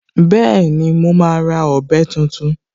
Bẹ́ẹ̀ni, mo máa ra ọ̀bẹ tuntun